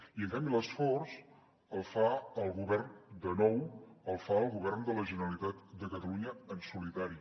i en canvi l’esforç el fa el govern de nou el fa el govern de la generalitat de catalunya en solitari